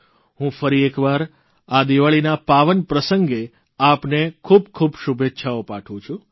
હું ફરી એકવાર આ દીવાળીના પાવન પ્રસંગે આપને ખૂબ ખૂબ શુભેચ્છાઓ પાઠવું છું